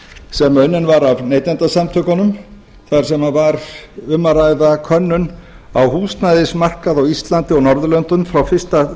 sem unnin var af neytendasamtökunum þar sem var um að ræða könnun á húsnæðismarkaði á íslandi og norðurlöndunum frá